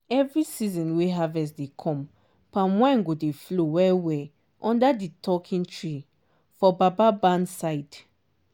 every season wey harvest dey come palm wine go dey flow well-well under di 'talking trees' for baba barn side